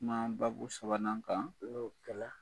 U kuma babu sabanan kan , ni o kɛ la